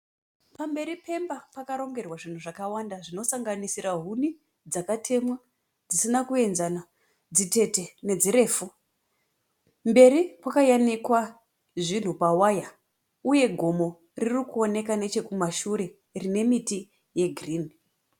Pamberi peimba pakarongerwa zvinhu zvakawanda zvinosanganisira huni, dzakatemwa dzisina kuenzana dzitete nedzirefu. Mberi kwakayanikwa zvinhu pawaya uye gomo ririkuoneka nechekumashure rine miti yegirinhi.